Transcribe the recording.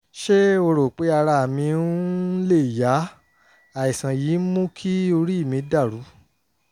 ṣé ẹ rò pé ara mi um lè yá? àìsàn yìí ń mú kí orí mi dàrú